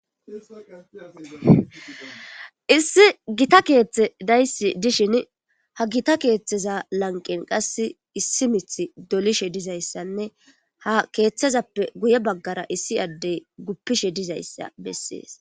issi gita keeththe daysi dishin ha gita keeththeza lanqen qas issi mith dolishe dizayssanne ha keeththezappe guye baggara issi addey guppishe dizayssa bessees